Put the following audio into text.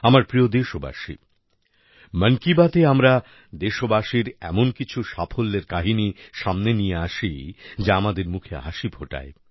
আমার প্রিয় দেশবাসী মন কি বাতে আমরা দেশবাসীর এমন কিছু সাফল্যের কাহিনি সামনে নিয়ে আসি যা আমাদের মুখে হাসি ফোটায়